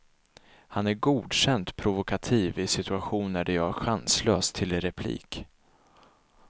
Han är godkänt provokativ i situationer där jag är chanslös till replik.